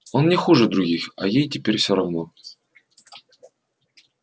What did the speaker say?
он не хуже других а ей теперь всё равно